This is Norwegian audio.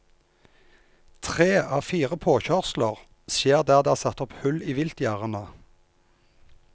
Tre av fire påkjørsler skjer der det er satt opp hull i viltgjerdene.